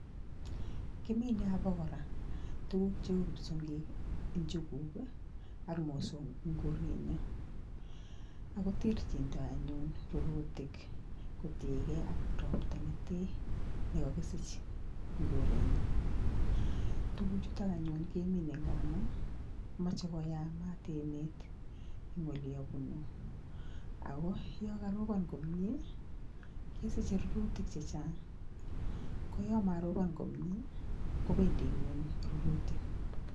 Kimine obo kora tukuk cheu kipsiong'ik, njuguk ak mosong'ik en korenyon ako terchindo anyun rurutik kotieke ak ropta netee nekokisich en korenyo, tukuchutok anyun kemine ngamu moche koyamat emet en oliabunu ako yon koropon komie kesiche rururtik chechang koyon moropon komie kobendi kweny rurutik,